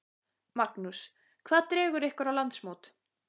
Magnús: Hvað dregur ykkur á landsmót?